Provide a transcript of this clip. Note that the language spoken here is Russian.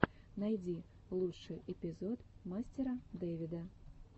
найди лучший эпизод мастера дэвида